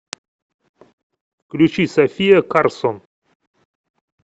включи софия карсон